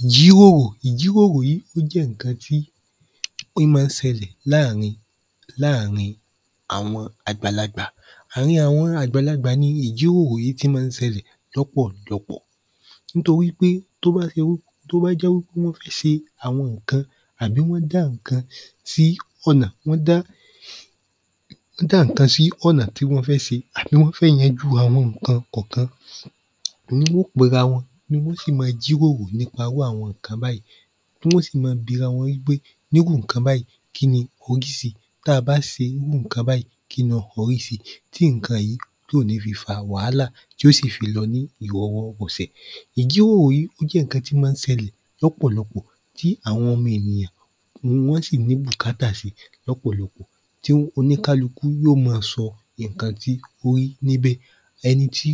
ìjíròrò ìjíròrò yí ó jẹ́ nnkan tí í má n ṣelè láàrin láàrin àwọn àgbàlagbà ààrin àwọn àgbàlagbà ni ìjíròrò yí ti má n ṣelè lọ́pọ̀ lọpọ̀ nítorí pé tóbá ṣe w tóbá jẹ́ wípé wọ́n fi ṣe àwọn nnkan àbí wọ́n já nnkan sí ọ̀nà wọ́n dá wọ́n dá nnkan sí ọ̀nà tí wọ́n fẹ́ ṣe àbí wọ́n fẹ́ yajú àwọnkan kànkan niwọ́n ó pera wọn ni wọ́n ó sì ma jíròrò nípa irú àwọn nnkan bàyí tí wọ́n ó sì ma birawọn wípé nírú nnkan bàyí kíni tabá ṣe n mú nnkan bàyí ki n lọ orí si? tí nnkan yí tí ò ní fi fa wàhálà tí ó sì fi lọ ní ìrọwọ́ rọsẹ̀ ìjíròrò yí ó jẹ́ nnkan tí ma n ṣelè lọ́pọ̀lọpọ̀ tí àwọn ọmọ ènìyàn gbogbo wọ́n sì ní bùkátà si lọ́pọ̀lọpọ̀ tí oníkálukú yọ́ ma sọ nnkan tí ó rí níbẹ̀ ẹni tí?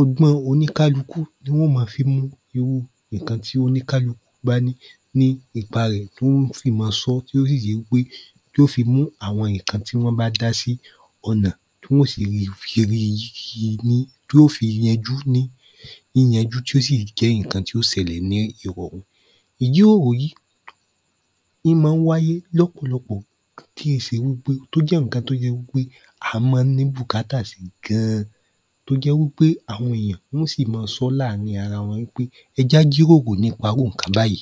ọgbọ́n oníkálukú ni wọ́n ó ma fi mú irú nnkan tí oníkálu bá ní ní ipa rẹ̀ tí wọ́n ó fì ma sọ́ tí ó sì jẹ́ wípé yó fi mú àwọn nnkan tí wọ́n bá dásí ọ̀nà tí wọ́n ó sì rí fi ṣeré y yi ní tí ó fi yanjú ní yíyanjú tí ó sì jẹ́ nnkan tí ó ṣelè ní ìrọ̀rùn ìjíròrò yí í má n wáyé lọ́pọ̀lọpọ̀ tí ì ṣe wípé tó jẹ́ nnkan tó jẹ wípé a má n ní bùkákà sí ga-an tó jẹ́ wípé àwọn èèyàn wọ́n ó sì ma sọ́ láàrin arawọn npé ẹ jẹ́ á jíròrò nípa irú nnkan bàyí